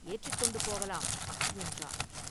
ஏற்றிக் கொண்டு போகலாம்!” என்றான்.